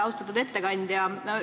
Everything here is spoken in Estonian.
Austatud ettekandja!